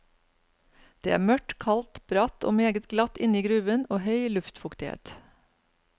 Det er mørkt, kaldt, bratt og meget glatt inni gruven og høy luftfuktighet.